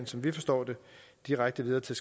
som vi forstår det direkte videre til